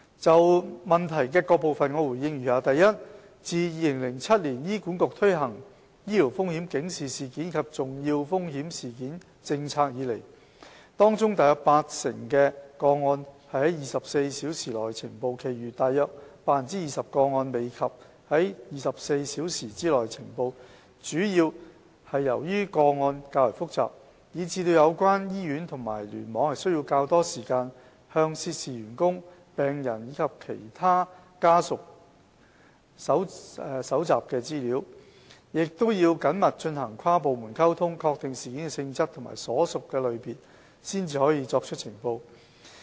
就質詢的各部分，我答覆如下：一自2007年醫管局推行醫療風險警示事件及重要風險事件政策以來，當中約 80% 的個案是在24小時內呈報，其餘約 20% 個案未及在24小時內呈報，主要是由於個案較為複雜，以致有關醫院及聯網需要較多時間向涉事員工、病人及其家屬搜集資料，亦要緊密進行跨部門溝通，確定事件的性質及所屬類別，方可作出呈報。